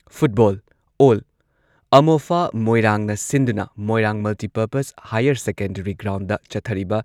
ꯄꯨꯔꯩꯔꯣꯝꯕ ꯀꯞꯀꯤ ꯉꯁꯤ ꯁꯥꯟꯅꯕꯗ ꯒ꯭ꯔꯨꯞ ꯕꯤ ꯗ ꯁꯦꯛꯇꯥ ꯕꯤ ꯅ ꯑꯦꯟ.ꯀꯦ.ꯑꯦꯐ.ꯁꯤ. ꯕꯤ ꯕꯨ ꯄꯥꯟꯖꯤꯜ ꯇꯔꯨꯛ ꯐꯨꯟꯗ ꯊꯣꯏꯈ꯭ꯔꯦ꯫